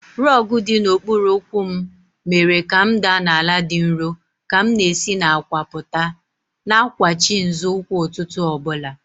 Rogu dị n'okpuru ụkwụ m mere ka m daa n'ala dị nro ka m na-esi n'àkwà pụta, na-akwachi nzọụkwụ ụtụtụ ọ bụla.